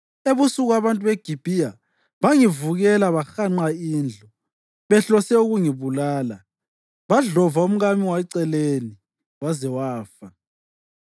Ebusuku abantu beGibhiya bangivukela bahanqa indlu, behlose ukungibulala. Badlova umkami weceleni waze wafa.